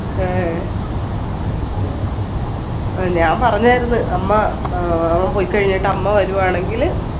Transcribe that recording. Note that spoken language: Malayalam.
ഏഹ്ഹ് ആഹ് ഞാൻ പറഞ്ഞായിരുന്ന് അമ്മ ഏർ അവൻ പോയ്കഴിഞ്ഞിട്ട് അമ്മ വരുവാണെങ്കിൽ